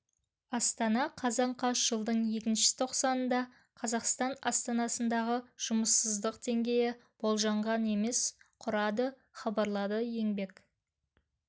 астана қазан қаз жылдың екінші тоқсанында қазақстан астанасындағы жұмыссыздық деңгейі болжанған емес құрады деп хабарлады еңбек